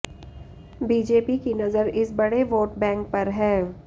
BJP की नजर इस बड़े वोट बैंक पर है